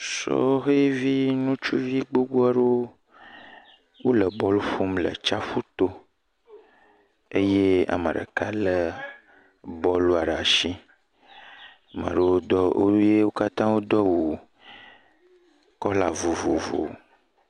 Sɔhevi ŋutsuvi gbogbo aɖewo le bɔl ƒo le tsiaƒu to eye ame ɖeka lé bɔlua ɖe asi, amea ɖewo do awu, wo katã wodo awu kɔla vovovowo.